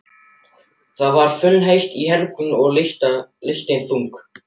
Það var funheitt í herberginu og lyktin þung.